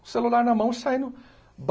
Celular na mão, saindo.